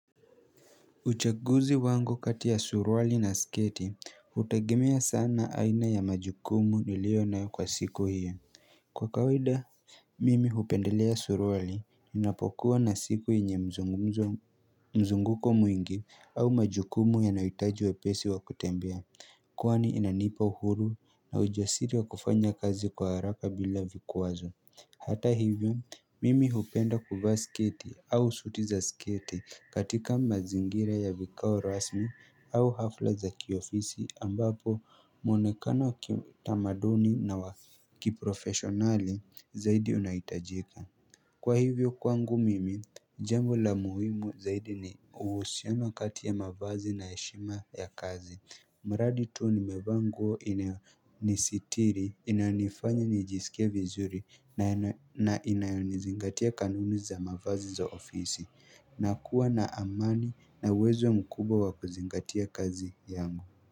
Uchaguzi wangu kati ya suruali na sketi, hutegemea sana aina ya majukumu niliyo nayo kwa siku hiyo Kwa kawaida, mimi hupendelea suruali, ninapokuwa na siku yenye mzunguko mwingi au majukumu yanayohitaji wepesi wa kutembea Kwani inanipa uhuru na ujasiri wa kufanya kazi kwa haraka bila vikwazo Hata hivyo mimi hupenda kuvaa sketi au suti za sketi katika mazingira ya vikao rasmi au hafla za kiofisi ambapo mwonekano wa kitamaduni na wakiprofesionali zaidi unahitajika Kwa hivyo kwangu mimi, jambo la muhimu zaidi ni uhusiano kati ya mavazi na heshima ya kazi mradi tu ni mevaa nguo inayonisitiri, inanifanya nijisikie vizuri na inayonizingatia kanuni za mavazi za ofisi na kuwa na amani na uwezo mkubwa wa kuzingatia kazi yangu.